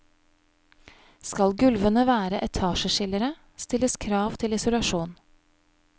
Skal gulvene være etasjeskillere, stilles krav til isolasjon.